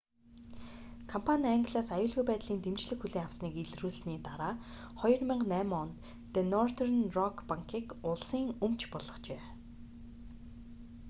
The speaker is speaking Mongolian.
компани англиас аюулгүй байдлын дэмжлэг хүлээн авсаныг илрүүлсэний дараа 2008 онд ди нортерн рок банкийг улсын өмч болгожээ